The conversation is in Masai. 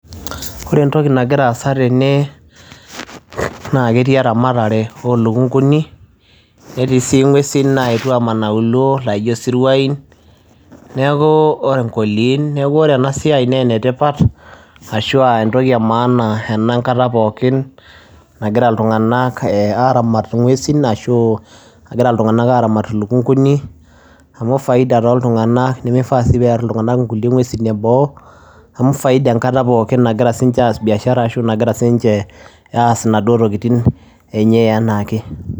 Ore entoki nagira aasa tene naa ketii eramatare olukunkuni, netii si ng'uesin naetuo aman auluo naijo siruain, neeku onkoiliin, neeku ore enasiai nenetipat ashua entoki emaana ena enkata pookin, nagira iltung'anak aramat ing'uesin ashu nagira iltung'anak aramat ilukunkuni, amu faida toltung'anak nimifaa si pear iltung'anak nkulie ng'uesin eboo, amu faida enkata pookin nagira sinche aas biashara ashu nagira sinche aas inaduo tokiting enye enaake.